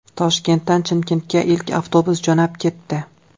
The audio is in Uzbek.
Toshkentdan Chimkentga ilk avtobus jo‘nab ketdi.